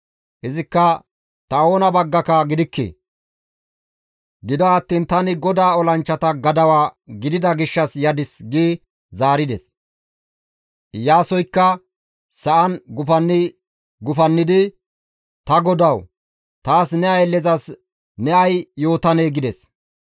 Izikka, «Ta oona baggaka gidikke; gido attiin tani GODAA olanchchata gadawa gidida gishshas yadis» gi zaarides. Iyaasoykka sa7an gufanni goynnidi, «Ta godawu! Taas ne ayllezas ne ay yootanee?» gides.